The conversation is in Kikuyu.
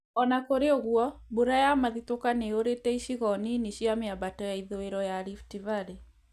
Ona kũrĩ ũguo, mbura ya mathitũka nĩyurĩte icigo nini cia miambato ya ithũĩro ya Rift valley